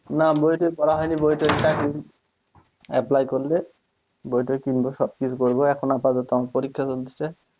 না বইটই পড়া হয়নি বইটই apply করলে বইটই কিনব সবকিছু করব আমার এখন পরীক্ষা চলতেছে,